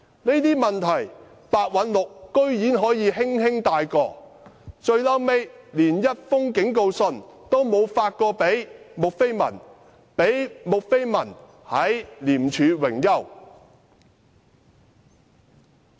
可是，白韞六居然可以輕輕繞過這些問題，最終連一封警告信也沒有發給穆斐文，她後來還在廉署榮休。